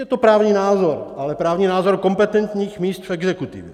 Je to právní názor, ale právní názor kompetentních míst v exekutivě.